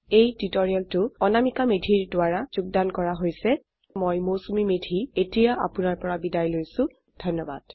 এই টিউটোৰিয়েল অনামিকা মেধি দ্ৱাৰা যোগদান কৰা হৈছ আই আই টী বম্বে ৰ পৰা মই মৌচুমী মেধী এতিয়া আপুনাৰ পৰা বিদায় লৈছো যোগদানৰ বাবে ধন্যবাদ